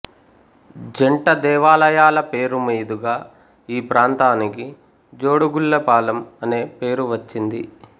జంట దేవాలయాల పేరుమీదుగా ఈ ప్రాంతానికి జోడుగుళ్ళపాలెం అనే పేరు వచ్చింది